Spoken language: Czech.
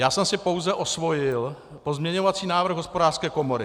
Já jsem si pouze osvojil pozměňovací návrh Hospodářské komory.